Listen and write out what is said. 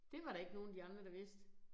Det var der ikke nogen af de andre der vidste